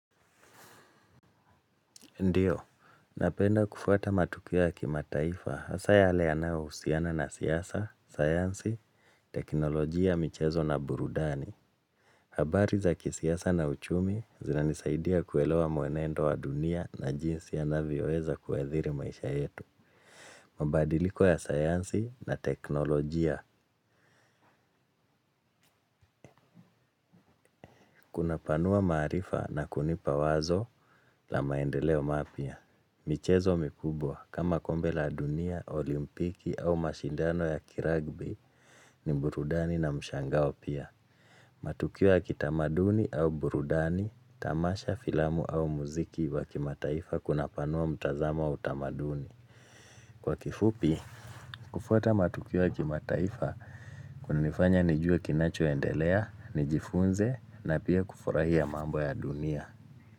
Ndiyo, napenda kufuata matukio ya kimataifa, hasa yale yanayo usiana na siyasa, sayansi, teknolojia, michezo na burudani. Habari za kisiyasa na uchumi zinanisaidia kuelewa muenendo wa dunia na jinsi yanavyo weza kuhathiri maisha yetu. Mabadiliko ya sayansi na teknolojia, kuna panua maarifa na kunipa wazo la maendeleo mapya. Michezo mikubwa kama kombe la dunia, olimpiki au mashindano ya kiragbi ni burudani na mshangao pia. Matukiyo ya kitamaduni au burudani, tamasha filamu au muziki wa kimataifa kuna panua mtazama wa utamaduni. Kwa kifupi, kufuata matukio ya kimataifa kulinifanya nijua kinacho endeleya, nijifunze na pia kufurahia mambo ya dunia.